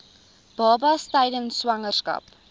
babas tydens swangerskap